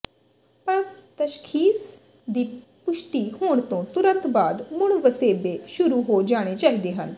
ਪਰ ਤਸ਼ਖੀਸ ਦੀ ਪੁਸ਼ਟੀ ਹੋਣ ਤੋਂ ਤੁਰੰਤ ਬਾਅਦ ਮੁੜ ਵਸੇਬੇ ਸ਼ੁਰੂ ਹੋ ਜਾਣੇ ਚਾਹੀਦੇ ਹਨ